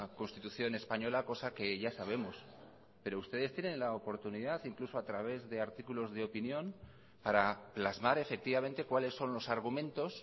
constitución española cosa que ya sabemos pero ustedes tienen la oportunidad incluso a través de artículos de opinión para plasmar efectivamente cuáles son los argumentos